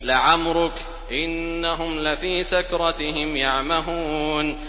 لَعَمْرُكَ إِنَّهُمْ لَفِي سَكْرَتِهِمْ يَعْمَهُونَ